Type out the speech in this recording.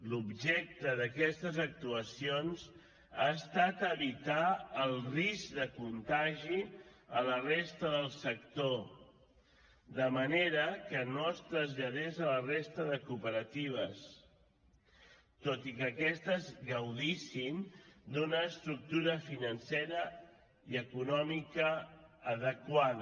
l’objecte d’aquestes actuacions ha estat evitar el risc de contagi a la resta del sector de manera que no es traslladés a la resta de cooperatives tot i que aquestes gaudissin d’una estructura financera i econòmica adequada